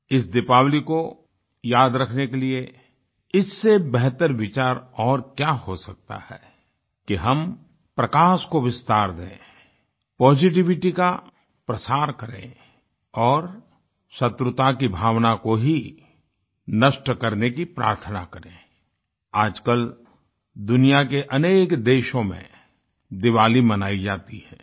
इस दीपावली को याद रखने के लिए इससे बेहतर विचार और क्या हो सकता है कि हम प्रकाश को विस्तार दें पॉजिटिविटी का प्रसार करें और शत्रुता की भावना को ही नष्ट करने की प्रार्थना करें आजकल दुनिया के अनेक देशों में दिवाली मनायी जाती है